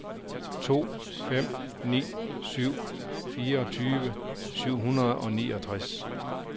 to fem ni syv fireogtyve syv hundrede og niogtres